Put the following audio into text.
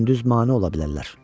Gündüz mane ola bilərlər.